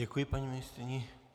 Děkuji paní ministryni.